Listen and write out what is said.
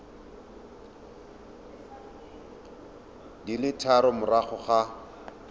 di le tharo morago ga